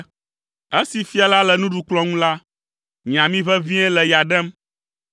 Esi fia la le nuɖukplɔ̃ ŋu la, nye ami ʋeʋĩe le ya ɖem.